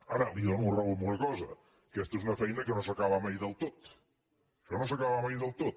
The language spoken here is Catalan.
ara li dono la raó en una cosa aquesta és una feina que no s’acaba mai del tot això no s’acaba mai del tot